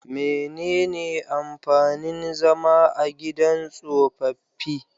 Menene amfanin zama a gidan tsofaffi?